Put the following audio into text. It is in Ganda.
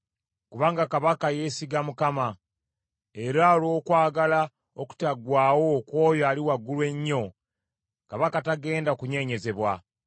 Kubanga kabaka yeesiga Mukama , era olw’okwagala okutaggwaawo okw’oyo Ali Waggulu Ennyo, kabaka tagenda kunyeenyezebwa.